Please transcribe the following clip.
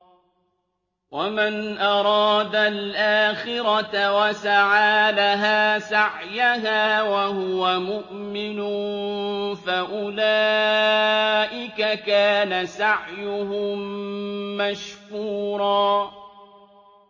وَمَنْ أَرَادَ الْآخِرَةَ وَسَعَىٰ لَهَا سَعْيَهَا وَهُوَ مُؤْمِنٌ فَأُولَٰئِكَ كَانَ سَعْيُهُم مَّشْكُورًا